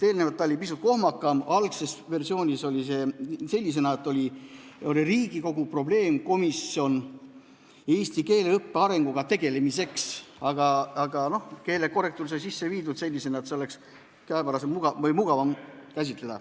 Enne, algses versioonis oli see pisut kohmakam: Riigikogu probleemkomisjon eesti keele õppe arenguga tegelemiseks.